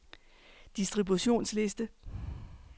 distributionsliste